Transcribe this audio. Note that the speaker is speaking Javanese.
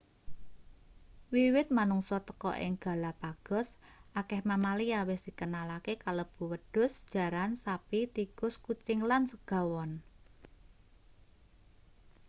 wiwit manungsa teka ing galapagos akeh mamalia wis dikenalake kalebu wedhus jaran sapi tikus kucing lan segawon